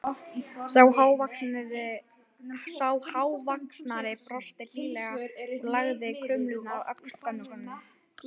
Sá hávaxnari brosti hlýlega og lagði krumluna á öxl gömlu konunni.